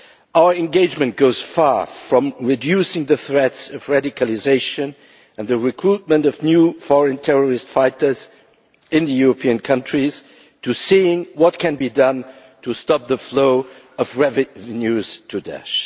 Our engagement goes far, from reducing the threats of radicalisation and the recruitment of new foreign terrorist fighters in European countries to seeing what can be done to stop the flow of revenue to Daesh.